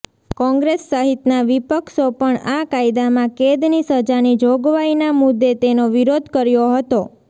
કોંગ્રેસ સહિતના વિપક્ષો પણ આ કાયદામાં કેદની સજાની જોગવાઈના મુદે તેનો વિરોધ કર્યો હતો